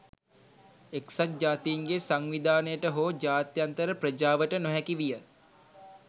එක්සත් ජාතීන්ගේ සංවිධානයට හෝ ජාත්‍යන්තර ප්‍රජාවට නොහැකි විය